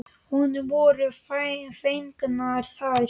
Honum voru fengnar þær.